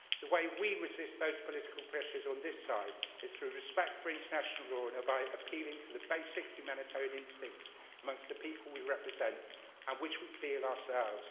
The way we resist those political pressures on this side is through respect for international law and by appealing to the basic humanitarian instincts amongst the people we represent and which we feel ourselves.